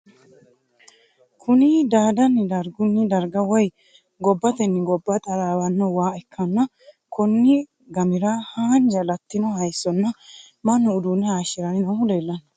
Kunni daadanni dargunni darga woyi gobbatenni gobba taraawano waa ikanna konni gamira hanja Latino hayisonna Manu uduunne hayishiranni noohu leelano.